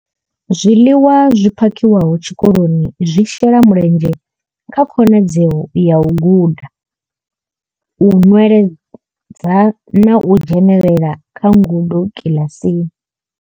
Zwiḽiwa zwi phakhiwaho tshikoloni zwi shela mulenzhe kha khonadzeo ya u guda, u nweledza na u dzhenela kha ngudo kiḽasini.